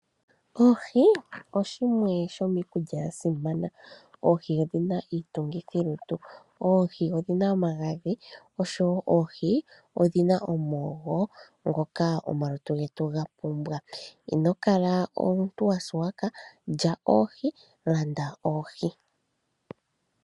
Oohi oshimwe shomiikulya ya simana. Oohi odhi na iitungithi lutu. Oohi odhi na omagadhi oshowo oohi odhi na omoogo ngoka omalutu getu ga pumbwa. Ino kala omuntu wa suwaka lya oohi, landa oohi.